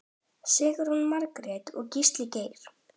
Sigrún Margrét og Gísli Geir.